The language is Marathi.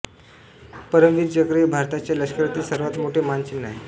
परमवीर चक्र हे भारताच्या लष्करातील सर्वात मोठे मानचिन्ह आहे